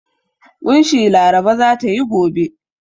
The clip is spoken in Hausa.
ƙunshi Laraba za ta yi gobe.